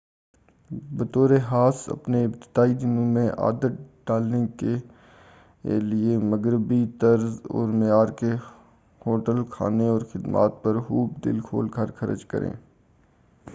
بطور خاص اپنے ابتدائی دنوں میں عادت ڈالنے کے لئے مغربی طرز اور معیار کے ہوٹل کھانے اور خدمات پر خوب دل کھول کر خرچ کریں